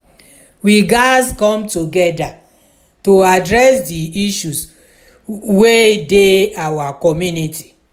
we gatz come together to address di issues wey dey our community.